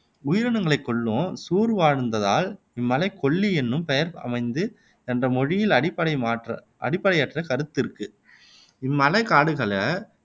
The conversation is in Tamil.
உயிரினங்களைக் கொல்லும் சூர் வாழ்ந்ததால் இம்மலைக்குக் கொல்லி என்னும் பெயர் அமைந்து என்ற மொழியியல் அடிப்படையற்ற கருத்து இருக்கு இம்மலைக்காடுகள்ல